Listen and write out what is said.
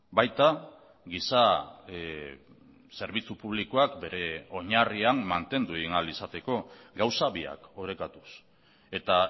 baita giza zerbitzu publikoak bere oinarrian mantendu egin ahal izateko gauza biak orekatuz eta